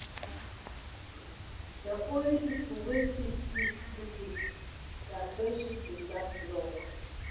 Na only pipo wey fit keep secret dia friendship dey last long.